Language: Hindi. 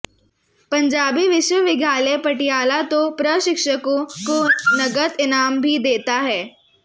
पंजाबी विश्वविद्यालय पटियाला तो प्रशिक्षकों को नकद इनाम भी देता है